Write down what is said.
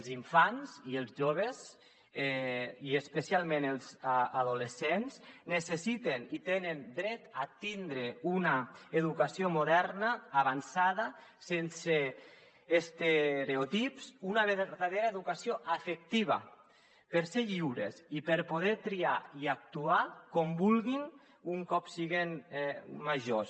els infants i els joves i especialment els adolescents necessiten i tenen dret a tindre una educació moderna avançada sense estereotips una vertadera educació afectiva per ser lliures i per poder triar i actuar com vul·guin un cop siguen majors